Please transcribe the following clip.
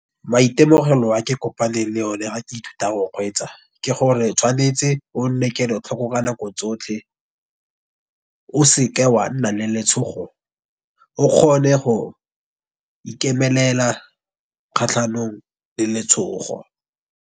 Maitemogelo a ke kopaneng le one ha ke ithuta go kgweetsa. Ke gore tshwanetse o nne kelotlhoko ka nako tsotlhe, o seke wa nna le letshogo o kgone go ikemelela kgatlhanong le letshogo.